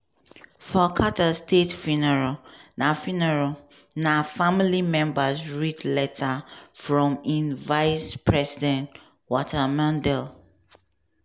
for carter state funeral na funeral na family members read letters from im vice-president walter mondale